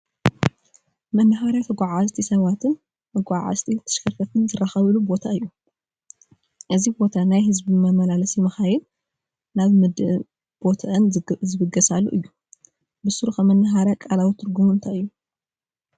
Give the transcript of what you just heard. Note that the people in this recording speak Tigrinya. መነሃርያ ተጓጓዝቲት ሰባትን መጓዓዓዝቲ ተሽከርከርት ዝራኸብሉ ቦታ እዩ፡፡ እዚ ቦታ ናይ ህዝቢ መመላለስቲ መካይን ናብ ምድብ ቦትአን ዝብገሳሉ እዩ፡፡ ብሱሩ ኸ መነሃርያ ቃላዊ ትርጉሙ እንታይ እዩ?